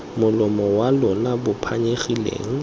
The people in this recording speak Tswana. molomo wa lona bo phanyegileng